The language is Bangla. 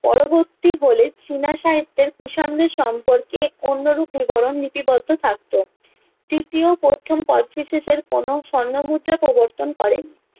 পরবর্তী হলে চীনা সাহিত্যের কুষাণদের সম্পর্কে অন্যরূপ বিবরণ লিপিবদ্ধ থাকতো তৃতীয় প্রথম কোচটিসিসের কোনো স্বর্ণ মুদ্রা প্রবর্তন করেন